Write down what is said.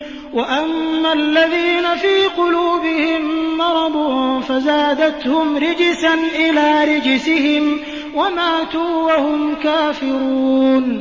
وَأَمَّا الَّذِينَ فِي قُلُوبِهِم مَّرَضٌ فَزَادَتْهُمْ رِجْسًا إِلَىٰ رِجْسِهِمْ وَمَاتُوا وَهُمْ كَافِرُونَ